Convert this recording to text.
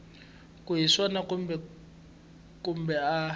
ku hi swona kumbe a